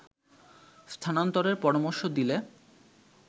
স্থানান্তরের পরামর্শ দিলে